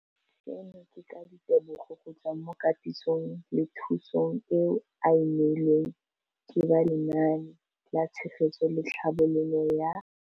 Seno ke ka ditebogo go tswa mo katisong le thu song eo a e neilweng ke ba Lenaane la Tshegetso le Tlhabololo ya